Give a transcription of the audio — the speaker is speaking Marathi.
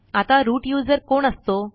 आता रूट यूझर कोण असतो